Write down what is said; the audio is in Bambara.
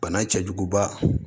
Bana cɛjuguba